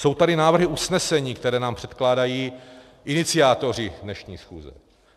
Jsou tady návrhy usnesení, které nám předkládají iniciátoři dnešní schůze.